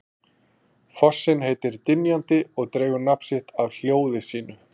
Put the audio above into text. Fossinn heitir Dynjandi og dregur nafn af hljóði sínu.